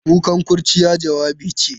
Kukan kurciya, jawabi ce.